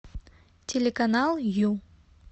телеканал ю